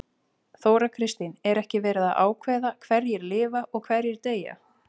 Þóra Kristín: Er ekki verið að ákveða hverjir lifa og hverjir deyja?